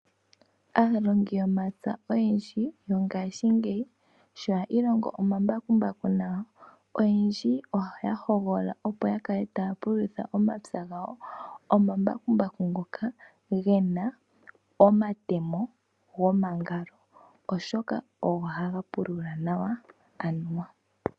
Aalongi yomapya oyendji mongashingeyi sho ya ilongo omambakumbaku nawa , oyendji oya hogolola opo yakale taya pululitha ompya gawo omamakumbaku ngoka gena omatemo gomangalo oshoka ogo haga pulula nawa.